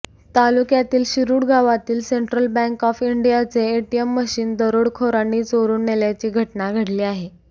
तालुक्यातील शिरुड गावातील central bank of इंडियाचे एटीएम मशीन दरोडखोरांनी चोरून नेल्याची घटना घडली आहे